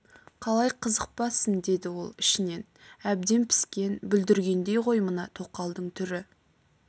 қалай қызықпассың деді ол ішінен әбден піскен бүлдіргендей ғой мына тоқалдың түрі